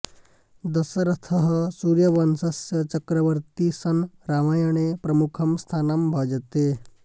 दशरथः सूर्यवंशस्य चक्रवर्ती सन् रामायणे प्रमुखं स्थानं भजते